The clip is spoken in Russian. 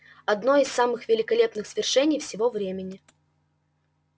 одно из самых великолепных свершений всего времени